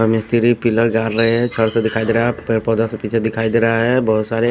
मिस्तरी पिलर गाड़ रहे हैं छड़ पे दिखाई दे रहा है पेर पौधा से पीछे दिखाई दे रहा है बहुत सारे--